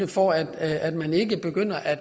for at at man ikke begynder at